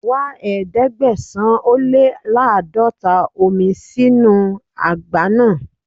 Wá Ẹ̀ẹ́dẹ̀gbẹ̀sán-ó-lé-láàdọ́ta omi sínu àgbá náà.